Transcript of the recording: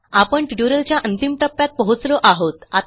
आपण ट्युटोरियलच्या अंतिम टप्प्यात पोहोचलो आहोत